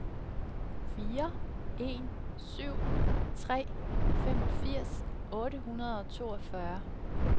fire en syv tre femogfirs otte hundrede og toogfyrre